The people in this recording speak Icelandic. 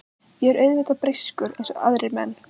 Ég er auðvitað breyskur eins og aðrir menn.